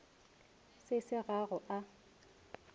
se se ga go a